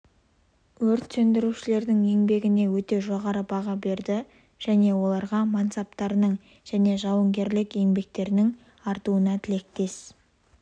өрт сөндірушілерінің еңбегіне өте жоғары баға берді және оларға мансаптарының және жауынгерлік еңбектерінің артуына тілектес